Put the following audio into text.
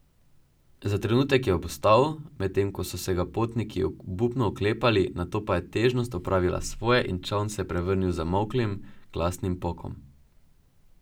Za trenutek je obstal, medtem ko so se ga potniki obupno oklepali, nato pa je težnost opravila svoje in čoln se je prevrnil z zamolklim, glasnim pokom.